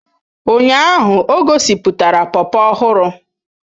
Ụnyaahụ ọ gosipụtara popo ọhụrụ